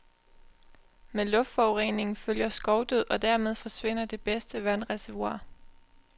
Med luftforureningen følger skovdød og dermed forsvinder det bedste vandreservoir.